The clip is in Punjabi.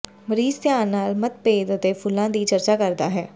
ਮਰੀਜ਼ ਧਿਆਨ ਨਾਲ ਮਤਭੇਦ ਅਤੇ ਫੁੱਲਾਂ ਦੀ ਚਰਚਾ ਕਰਦਾ ਹੈ